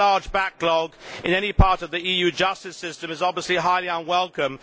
Any large backlog in any part of the EU justice system is obviously highly unwelcome.